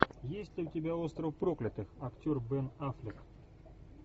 есть ли у тебя остров проклятых актер бен аффлек